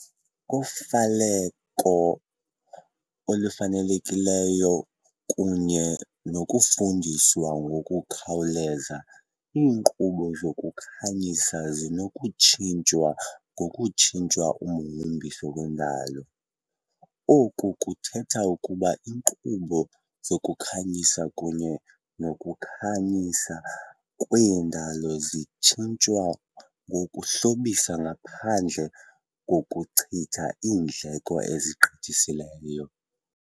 Ngofaleko olufanelekileyo kunye nokufuduswa ngokukhawuleza, iinkqubo zokukhanyisa zinokutshintshwa ngokutshintsha umhombiso wendalo. Oku kuthetha ukuba iinkqubo zokukhanyisa kunye nokukhanyisa kwendalo zingatshintshwa ngokuhlobisa ngaphandle kokuchitha iindleko ezigqithiseleyo.